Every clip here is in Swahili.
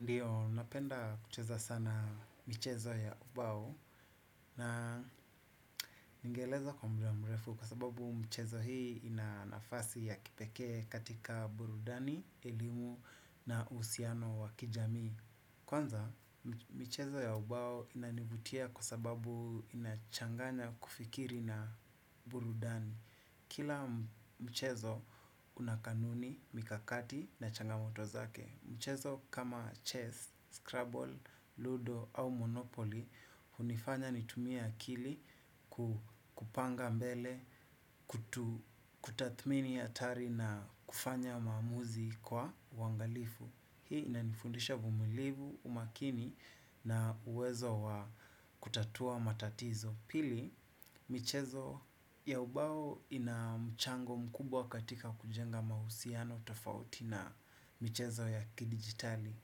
Ndiyo, napenda kucheza sana michezo ya ubao na ningeeleza kwa muda mrefu kwa sababu mchezo hii ina nafasi ya kipekee katika burudani, elimu na uhusiano wa kijamii. Kwanza, michezo ya ubao inanivutia kwa sababu inachanganya kufikiri na burudani. Kila mchezo una kanuni, mikakati na changamoto zake, mchezo kama chess, scrabble, ludo au monopoly, hunifanya nitumie akili kupanga mbele, kutathmini hatari na kufanya maamuzi kwa uangalifu. Hii inanifundisha uvumulivu umakini na uwezo wa kutatua matatizo. Pili, michezo ya ubao ina mchango mkubwa katika kujenga mahusiano tofauti na michezo ya kidigitali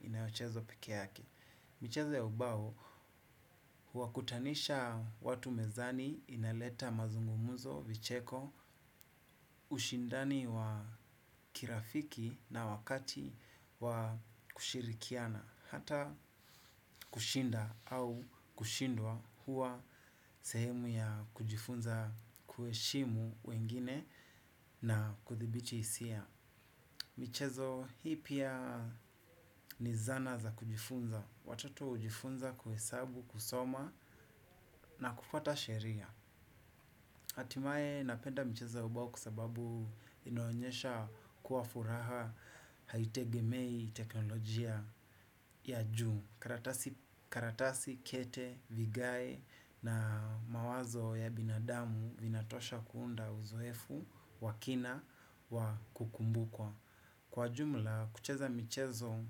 inayochezwa pekee yake. Michezo ya ubao huwakutanisha watu mezani inaleta mazungumuzo vicheko ushindani wa kirafiki na wakati wa kushirikiana hata kushinda au kushindwa huwa sehemu ya kujifunza kuheshimu wengine na kudhibiti hisia. Michezo, hii pia ni zana za kujifunza. Watoto hujifunza kuhesabu kusoma na kufuata sheria hatimaye napenda michezo ya ubao kwa sababu inaonyesha kuwa furaha haitegemei teknolojia ya juu. Karatasi, kete, vigae na mawazo ya binadamu vinatosha kuunda uzoefu wa kina wa kukumbukwa. Kwa jumla, kucheza michezo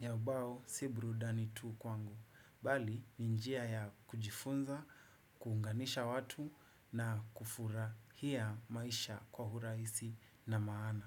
ya ubao si burudani tu kwangu bali ni njia ya kujifunza kuunganisha watu na kufurahia maisha kwa urahisi na maana.